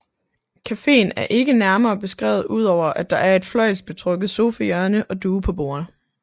Cafeen er ikke nærmere beskrevet udover at der er et fløjlsbetrukket sofahjørne og duge på bordet